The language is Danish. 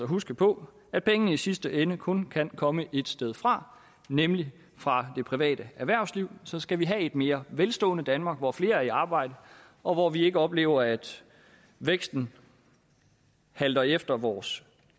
huske på at pengene i sidste ende kun kan komme ét sted fra nemlig fra det private erhvervsliv så skal vi have et mere velstående danmark hvor flere er i arbejde og hvor vi ikke oplever at væksten halter efter vores